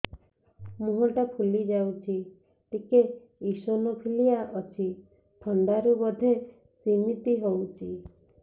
ମୁହଁ ଟା ଫୁଲି ଯାଉଛି ଟିକେ ଏଓସିନୋଫିଲିଆ ଅଛି ଥଣ୍ଡା ରୁ ବଧେ ସିମିତି ହଉଚି